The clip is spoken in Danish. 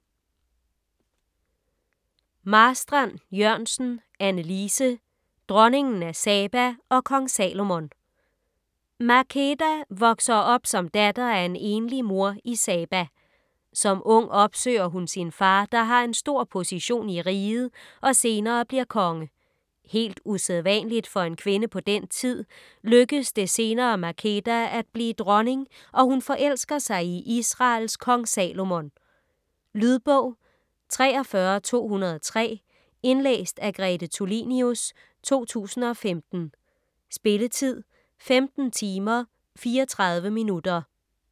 Marstrand-Jørgensen, Anne Lise: Dronningen af Saba & Kong Salomon Makeda vokser op som datter af en enlig mor i Saba. Som ung opsøger hun sin far, der har en stor position i riget og senere bliver konge. Helt usædvanligt for en kvinde på den tid, lykkes det senere Makeda at blive dronning, og hun forelsker sig i Israels Kong Salomon. Lydbog 43203 Indlæst af Grete Tulinius, 2015. Spilletid: 15 timer, 34 minutter.